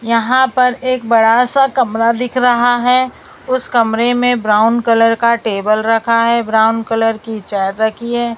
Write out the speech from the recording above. यहां पर एक बड़ा सा कमरा दिख रहा है उस कमरे में ब्राउन कलर का टेबल रखा है ब्राउन कलर की चेयर रखी है।